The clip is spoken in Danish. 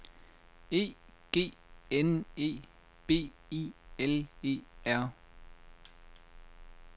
E G N E B I L E R